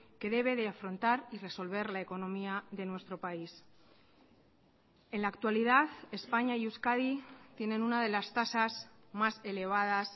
que debe de afrontar y resolver la economía de nuestro país en la actualidad españa y euskadi tienen una de las tasas más elevadas